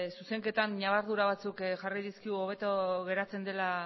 zuzenketan ñabardura batzuk jarri dizkigu hobeto geratzen dela